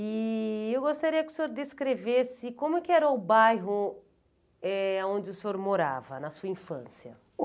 E eu gostaria que o senhor descrevesse como é que era o bairro onde o senhor morava, na sua infância.